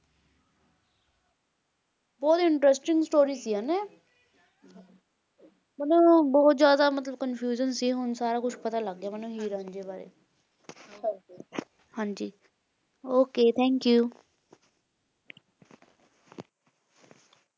ਬਹੁਤ interesting story ਸੀ ਹੈ ਨਾ ਮੈਨੂੰ ਬਹੁਤ ਜ਼ਿਆਦਾ ਮਤਲਬ confusion ਸੀ ਹੁਣ ਸਾਰਾ ਕੁਛ ਪਤਾ ਲੱਗ ਗਿਆ ਮੈਨੂੰ ਹੀਰ ਰਾਂਝੇ ਵਾਰੇ ਹਾਂਜੀ okay thank you